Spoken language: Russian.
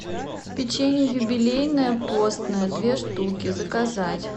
печенье юбилейное постное две штуки заказать